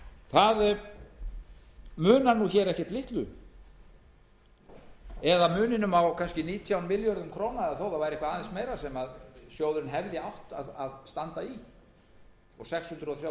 af okkar hálfu það munar ekkert litlu á kannski nítján milljörðum króna og þó að það væri eitthvað aðeins meira sem sjóðurinn hefði átt að standa í og sex hundruð þrjátíu til sex hundruð fjörutíu milljörðum